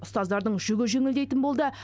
ұстаздардың жүгі жеңілдейтін болды